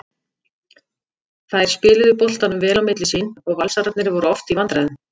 Þær spiluðu boltanum vel á milli sín og Valsararnir voru oft í vandræðum.